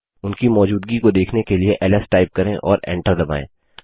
उनकी मौजूदगी को देखने के लिए एलएस टाइप करें और एंटर दबायें